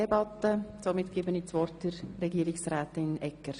Somit gebe ich das Wort Frau Regierungsrätin Egger.